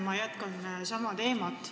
Ma jätkan sama teemat.